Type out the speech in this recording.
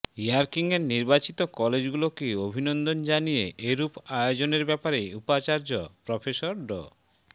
র্যাংকিংয়ে নির্বাচিত কলেজগুলোকে অভিনন্দন জানিয়ে এরূপ আয়োজনের ব্যাপারে উপাচার্য প্রফেসর ড